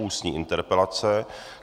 Ústní interpelace